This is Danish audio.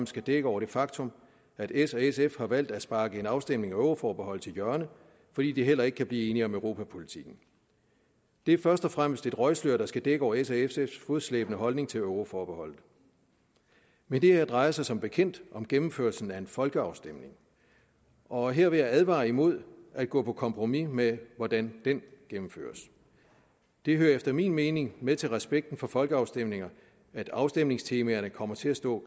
skal dække over det faktum at s og sf har valgt at sparke en afstemning om euroforbeholdet til hjørne fordi de heller ikke kan blive enige om europapolitikken det er først og fremmest et røgslør der skal dække over s og sfs fodslæbende holdning til euroforbeholdet men det her drejer sig som bekendt om gennemførelsen af en folkeafstemning og her vil jeg advare imod at gå på kompromis med hvordan den gennemføres det hører efter min mening med til respekten for folkeafstemninger at afstemningstemaerne kommer til at stå